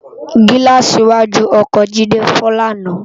Gilàsí iwàjú òkò Jide fò làná